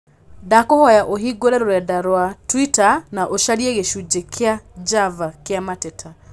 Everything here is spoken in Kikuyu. Nĩndakũhoya ũhimgũre rũrenda inĩ rwa tũita na ũcarie gĩcunjĩ kĩa Java kĩa mateta